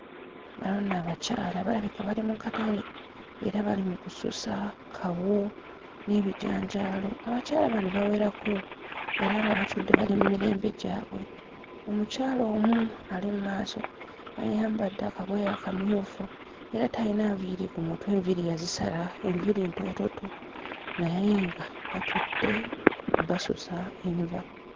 Bano nno abakyala balabika bali mu katale era bali mu kususa kawo n'ebijanjaalo abakyala bano bawerako era nga batudde bali mmirembe gyabwe omukyala omu ali mmaaso ayambadde akagoye akamyufu era tayina nviiri ku mutwe enviiri yazisala enviiri ntoototo naye nga batudde basusa enva.